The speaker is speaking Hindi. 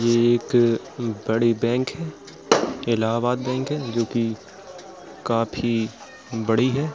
ये एक बड़ी बैंक है इलाहाबाद बैंक हैजो की काफी बड़ी है।